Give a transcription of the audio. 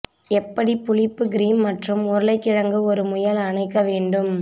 எப்படி புளிப்பு கிரீம் மற்றும் உருளைக்கிழங்கு ஒரு முயல் அணைக்க வேண்டும்